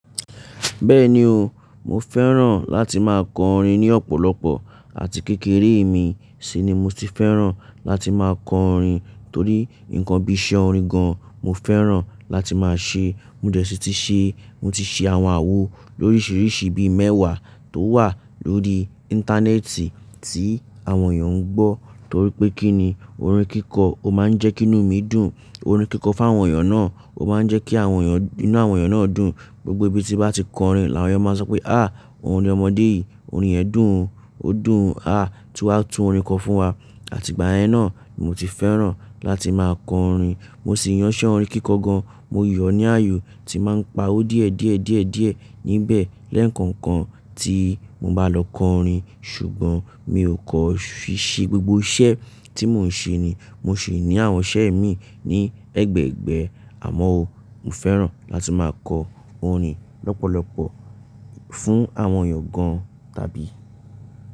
Bẹ́ẹ̀ni o, mo fẹ́ràn láti máa kọ orin ní ọ̀pọ̀lọpọ̀ àti kékeré mi sì ni mo ti fẹ́ràn láti máa kọ orin torí nǹkan bí iṣẹ́ orin gan-an mo fẹ́ràn láti máa ṣe. Mo dẹ̀ ṣì ti ṣe, mo ti ṣe àwọn àwo lóríṣiríṣi bí i mẹ́wàá tó wà lórí Íńtánẹ́ẹ̀tì tí àwọn èèyàn ń gbọ́ torí pé kíni orin kíkọ o máa ń jẹ́ kí inú mi dùn, orin kíkọ fún àwọn èèyàn náà o máa ń jẹ́ kí àwọn èèyàn, inú àwọn èèyàn náà dùn. Gbogbo ibi tí bá ti kọ orin làwọn èèyàn máa sọ pé "àh! Orin ọmọdé yìí, orin ẹ̀ dùn ún, ó dùn ún, àh! Tú wa, tún orin kọ fún wa" àti ìgbà yẹn náà ni mo ti fẹ́ràn láti máa kọ orin. Mo sì yàn iṣẹ́ orin kíkọ gan, mo yan ní ààyò tí màá ń pa ó díẹ̀ díẹ̀ díẹ̀ díẹ̀ níbẹ̀ lẹ́ẹ̀ńkankan tí mo bá lọ kọ orin ṣùgbọ́n mi ò kàn fí ṣe gbogbo iṣẹ́ tí mò ń ṣe ni, mo sì ní àwọn iṣẹ́ mi ní ẹgbẹ̀ẹgbẹ̀ẹ́ àmọ́ o, mo fẹ́ràn láti máa kọ orin lọ́pọ̀lọpọ̀ fún àwọn èèyàn gan tàbí.